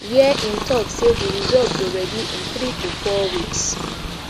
wia im tok say di result go ready in three to four weeks